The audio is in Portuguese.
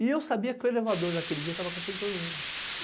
E eu sabia que o elevador daquele dia tava com aquele problema.